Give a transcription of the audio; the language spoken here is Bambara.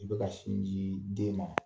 I bɛka sin jii den ma.